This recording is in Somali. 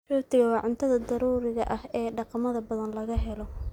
Rootigu waa cunnada daruuriga ah ee dhaqamada badan laga helo.